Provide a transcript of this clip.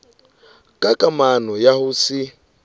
ka kamano ya ho se